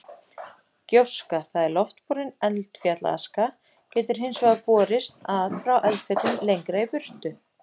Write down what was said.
Gjóska, það er loftborin eldfjallaaska getur hins vegar borist að frá eldfjöllum lengra í burtu.